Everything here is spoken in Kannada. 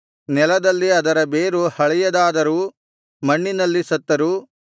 ನೆಲದಲ್ಲಿ ಅದರ ಬೇರು ಹಳೆಯದಾದರೂ ಮಣ್ಣಿನಲ್ಲಿ ಸತ್ತರೂ